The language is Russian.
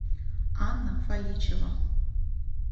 анна фаличева